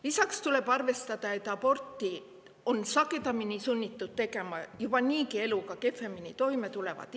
Lisaks tuleb arvestada sellega, et sagedamini on sunnitud aborti tegema inimesed, kes niigi eluga kehvemini toime tulevad.